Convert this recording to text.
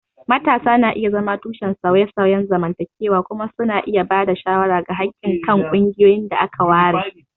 Matasa na iya zama tushen sauye-sauyen zamantakewa kuma suna iya ba da shawara ga haƙƙin kan ƙungiyoyin da aka ware